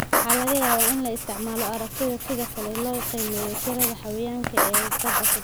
Waxaa laga yaabaa in la isticmaalo aragtidaas sida kale si loo qiimeeyo tirada xayawaanka kale ee badda.